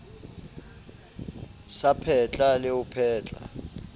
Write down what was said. sa phetla le ho phetla